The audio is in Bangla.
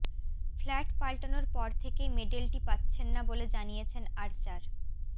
ফ্ল্যাট পাল্টানোর পর থেকেই মেডেলটি পাচ্ছেন না বলে জানিয়েছেন আর্চার